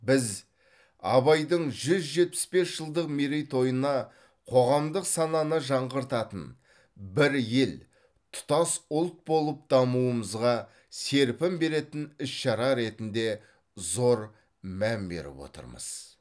біз абайдың жүз жетпіс бес жылдық мерейтойына қоғамдық сананы жаңғыртатын бір ел тұтас ұлт болып дамуымызға серпін беретін іс шара ретінде зор мән беріп отырмыз